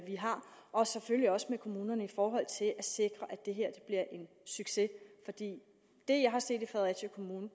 vi har og selvfølgelig også med kommunerne i forhold til at sikre at det her bliver en succes for det jeg har set i fredericia kommune